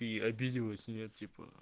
и обиделась нет типа